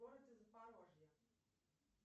в городе запорожье